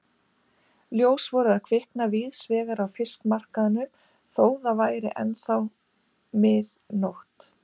Ljós voru að kvikna víðsvegar á fiskmarkaðinum þó það væri ennþá mig nótt.